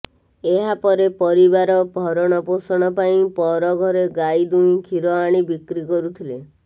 ଏହାପରେ ପରିବାର ଭରଣପୋଷଣ ପାଇ ପର ଘରେ ଗାଈ ଦୁହିଁ କ୍ଷୀର ଆଣି ବିକ୍ରି କରୁଥିଲେ